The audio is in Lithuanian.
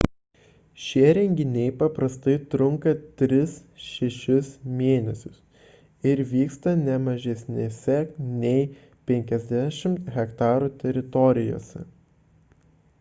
šie renginiai paprastai trunka 3–6 mėn. ir vyksta ne mažesnėse nei 50 ha teritorijose